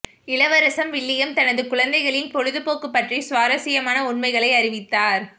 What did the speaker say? இளவரசர் வில்லியம் தனது குழந்தைகளின் பொழுதுபோக்கு பற்றி சுவாரசியமான உண்மைகளை அறிவித்தார்